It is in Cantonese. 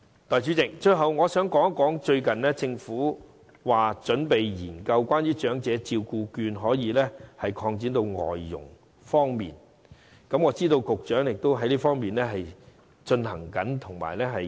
代理主席，最後，我想談談政府最近準備將長者社區照顧服務券擴展至僱用外傭，我知道局長正研究這方面的安排。